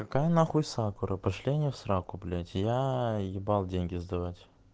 какая нахуй сакура пошли они в сраку блять я ебал деньги сдавать